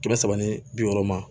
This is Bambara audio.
Kɛmɛ saba ni bi wɔɔrɔ ma